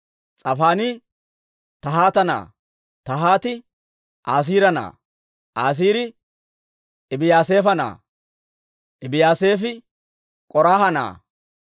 S'afaanii Tahaata na'aa; Tahaati Asiira na'aa; Asiiri Ebiyaasaafa na'aa; Ebiyaasaafi K'oraaha na'aa;